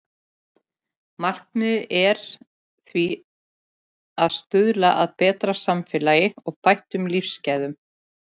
Markmiðið er því að stuðla að betra samfélagi og bættum lífsgæðum.